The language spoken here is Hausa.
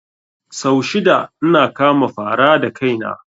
Sau shida ina kama fara da kaina